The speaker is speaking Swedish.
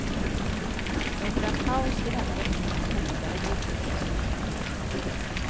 Under en paus i denna rättegång hotade brodern sin syster på nytt.